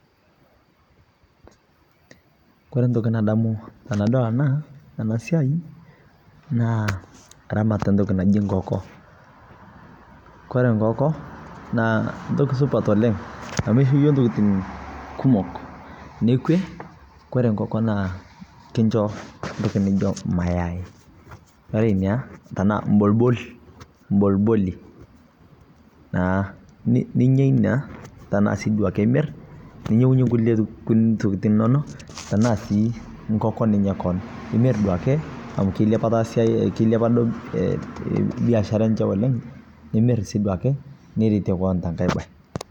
Kore ntokii nadamu tanadol ana ana siai naa ramaat e ntokii naji nkooko. Kore nkooko naa ntoki supaat oleng amu eishoo yoo ntokitin kumook. Nekwee kore nkooko naa kinchoo ntokii nijoo mayai [c] ore nia tana lbolbol bolboli naa. Ninyaa enia tana si duake imiir ninyeng'uyee nkulee ntokitin enono taa sii nkookon ninyaaa koon. Nimiir duake amu keileepa siai keileepa doo biashara enchee oleng imiir sii duake nireetie koon te nkaai baye.